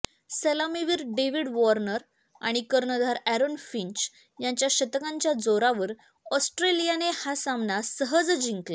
सलामीवीर David Warner आणि कर्णधार अॅरोन फिंच यांच्या शतकांच्या जोरावर ऑस्ट्रेलियाने हा सामना सहज जिंकला